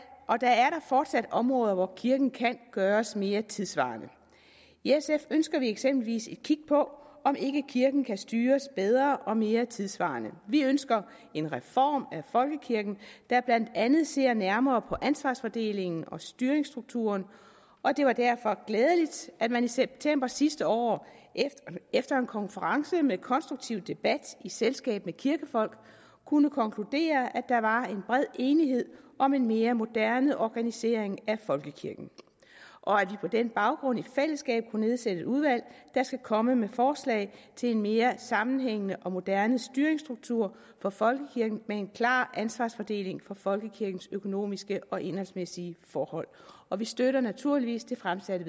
fortsat områder hvor kirken kan gøres mere tidssvarende i sf ønsker vi eksempelvis et kig på om ikke kirken kan styres bedre og mere tidssvarende vi ønsker en reform af folkekirken der blandt andet ser nærmere på ansvarsfordelingen og styringsstrukturen og det var derfor glædeligt at man i september sidste år efter en konference med konstruktiv debat i selskab med kirkefolk kunne konkludere at der var en bred enighed om en mere moderne organisering af folkekirken og at vi på den baggrund i fællesskab kunne nedsætte et udvalg der skal komme med forslag til en mere sammenhængende og moderne styringsstruktur for folkekirken og med en klar ansvarsfordeling for folkekirkens økonomiske og indholdsmæssige forhold og vi støtter naturligvis det fremsatte